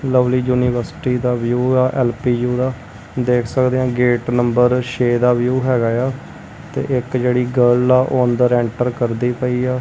Lovely university ਦਾ view ਆ L P U ਦਾ ਦੇਖ ਸਕਦੇ ਆ ਗੇਟ ਨੰਬਰ ਛੇ ਦਾ ਵਿਊ ਹੈਗਾ ਆ ਤੇ ਇੱਕ ਜਿਹੜੀ ਗੱਲ ਆ ਉਹ ਅੰਦਰ ਐਂਟਰ ਕਰਦੀ ਪਈ ਆ।